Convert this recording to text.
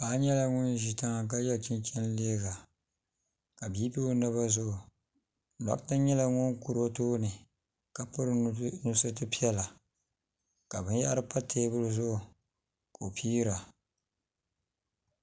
paɣ' nyɛla ŋɔ ʒɛ tiŋa ka yɛ chɛnchɛni liga ka be do o naba zuɣ' doɣita nyɛla ŋɔ kuri o tuuni ka pɛringa pɛritɛ nusuritɛ piɛla ka bɛn yahiri pa tɛbuli zuɣ' Kai pira